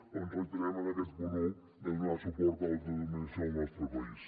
doncs ens reiterem en aquest punt un de donar suport a l’autodeterminació del nostre país